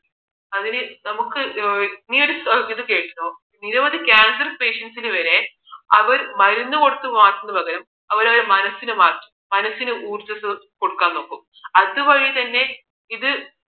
അതിന് നമുക്കൊരു നീ ഒരു ഇത് കേട്ടോ നിരവധി cancer patients സിന് വരെ അവർ മരുന്ന് കൊടുത്ത് മാറ്റുന്നതിന് പകരം അവർ അവരുടെ മനസ്സിനെ മാറ്റി മനസ്സിന് ഊർജസ്സ് ക ഒടുക്കാന് നോക്കും അതുവഴി തന്നെ ഇത്